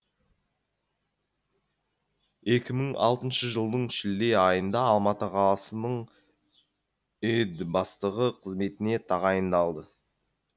екі мың алтыншы жылдың шілде айында алматы қаласының іід бастығы қызметіне тағайындалды